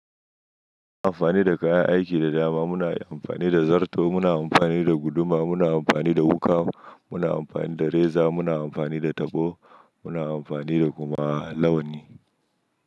Muna amfani da kayan aiki da dama. Muna amfani da zarto, muna amfani da guduma, muna amfani da wuƙa, muna amfani da reza, muna amfani da tabo, muna amfani da kuma launi.